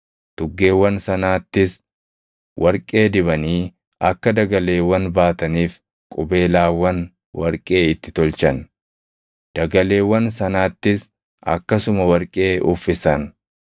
Tuggeewwan sanaattis warqee dibanii akka dagaleewwan baataniif qubeelaawwan warqee itti tolchan. Dagaleewwan sanaattis akkasuma warqee uffisan.